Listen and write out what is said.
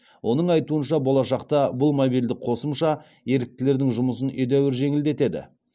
оның айтуынша болашақта бұл мобильді қосымша еріктілердің жұмысын едәуір жеңілдетеді